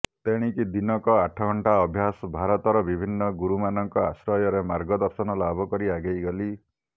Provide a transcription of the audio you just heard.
ତେଣିକି ଦିନକ ଆଠଘଣ୍ଟା ଅଭ୍ୟାସ ଭାରତର ବିଭିନ୍ନ ଗୁରୁମାନଙ୍କ ଆଶ୍ରୟରେ ମାର୍ଗଦର୍ଶନ ଲାଭକଲି ଆଗେଇ ଗଲି